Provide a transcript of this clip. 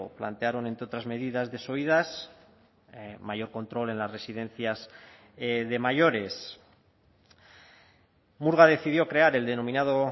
plantearon entre otras medidas desoídas mayor control en las residencias de mayores murga decidió crear el denominado